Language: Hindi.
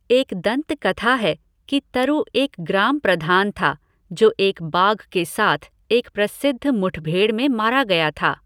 एक दंतकथा है कि तरु एक ग्राम प्रधान था जो एक बाघ के साथ एक प्रसिद्ध मुठभेड़ में मारा गया था।